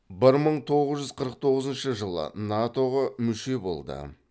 бір мың тоғыз жүз қырық тоғызыншы жылы нато ға мүше болды